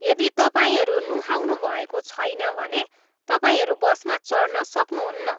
यदि तपाईँहरू नुहाउनुभएको छैन भने तपाईँहरू बसमा चढ्न सक्नुहुन्न।